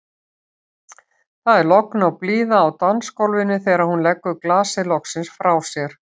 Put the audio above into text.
Það er logn og blíða á dansgólfinu þegar hún leggur glasið loksins frá sér.